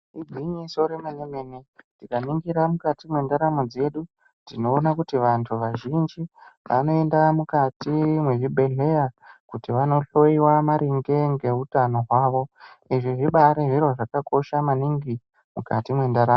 Igwinyiso remene-mene, tikaningira mukati mwendaramo dzedu tinoona kuti vantu vazhinji ,vanoenda mukati mwezvibhedhleya, kuti vanohloiwa maringe ngeutano hwavo. Izvi zvibaari zviro zvakakosha maningi ,mukati mwendaramo .